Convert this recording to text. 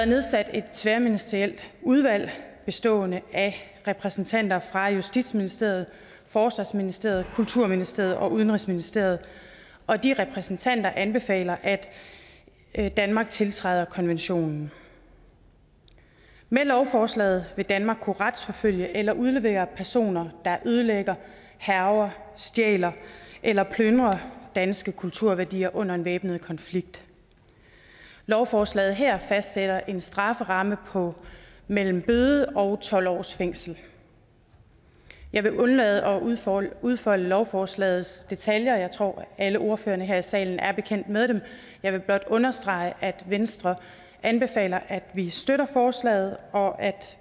nedsat et tværministerielt udvalg bestående af repræsentanter fra justitsministeriet forsvarsministeriet kulturministeriet og udenrigsministeriet og de repræsentanter anbefaler at at danmark tiltræder konventionen med lovforslaget vil danmark kunne retsforfølge eller udlevere personer der ødelægger hærger stjæler eller plyndrer danske kulturværdier under en væbnet konflikt lovforslaget her fastsætter en strafferamme på mellem bøde og tolv års fængsel jeg vil undlade at udfolde udfolde lovforslagets detaljer jeg tror at alle ordførerne her i salen er bekendt med dem jeg vil blot understrege at venstre anbefaler at vi støtter forslaget og at